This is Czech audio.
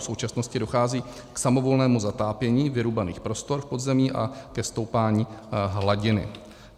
V současnosti dochází k samovolnému zatápění vyrubaných prostor v podzemí a ke stoupání hladiny.